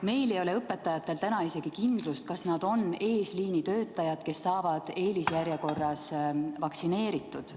Meil ei ole õpetajatel täna isegi kindlust, kas nad on eesliinitöötajad, kes saavad eelisjärjekorras vaktsineeritud.